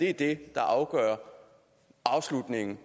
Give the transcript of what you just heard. er det der afgør afslutningen